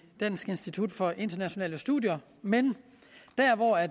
dansk institut for internationale studier men